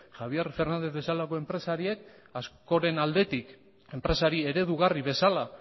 javier fernández bezalako enpresariek askoren aldetik enpresari eredugarri bezala